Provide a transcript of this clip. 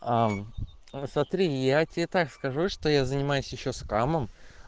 а сотри я тебе так скажу что я занимаюсь ещё скамом